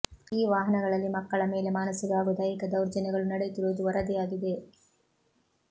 ಈ ವಾಹನಗಳಲ್ಲಿ ಮಕ್ಕಳ ಮೇಲೆ ಮಾನಸಿಕ ಹಾಗೂ ದೈಹಿಕ ದೌರ್ಜನ್ಯಗಳು ನಡೆಯುತ್ತಿರುವುದು ವರದಿಯಾಗಿದೆ